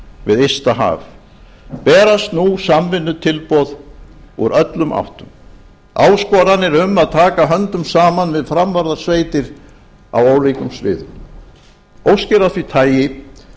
við ysta haf berast nú samvinnutilboð úr öllum áttum áskoranir um að taka höndum saman við framvarðarsveitir á ólíkum sviðum óskir af því tagi